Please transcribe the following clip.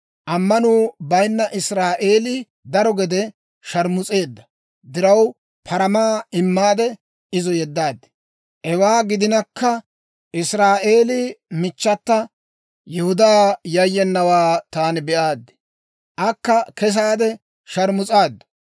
Ammanuu bayinna Israa'eelii daro gede sharmus'eedda diraw, paramaa immaade izo yeddaad. Hewaa gidinakka Israa'eelii michchata, ammanettena Yihudaa yayyenawaa taani be'aad; akka kesaade sharmus'aaddu.